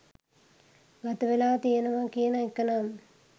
ගතවෙලා තියනවා කියන එකනම්